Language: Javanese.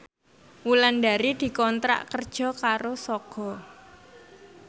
Wulandari dikontrak kerja karo Sogo